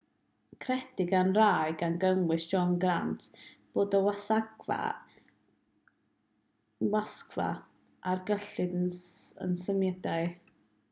credir gan rai gan gynnwys john grant bod y wasgfa ar gyllid a symudiad yn athroniaeth rhaglennu teledu addysgol wedi cyfrannu at ddod â'r gyfres i ben